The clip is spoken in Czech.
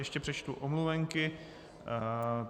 Ještě přečtu omluvenky.